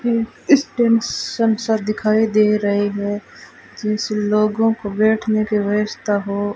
stands सा दिखाई दे रहे है लोगो को बैठने की व्यवस्था हो --